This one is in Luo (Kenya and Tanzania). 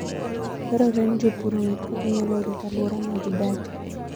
Dwarore ni jopur ong'e kaka ginyalo rito alwora ma gidakie.